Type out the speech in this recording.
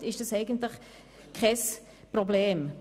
Somit ist das eigentlich kein Problem.